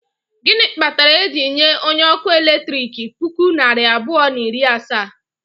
Gịnị kpatara e ji nye onye ọkụ eletrik puku naira abụọ na iri asaa?